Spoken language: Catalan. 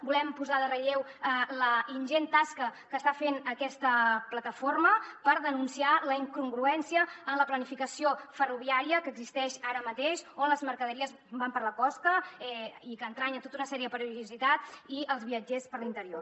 volem posar en relleu la ingent tasca que està fent aquesta plataforma per denunciar la incongruència en la planificació ferroviària que existeix ara mateix on les mercaderies van per la costa i que entranya tota una sèrie de perillositats i els viatgers per l’interior